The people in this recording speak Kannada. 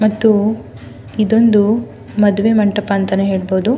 ಮತ್ತು ಇದೊಂದು ಮದುವೆ ಮಂಟಪ ಅಂತನು ಹೇಳ್ಬಹುದು.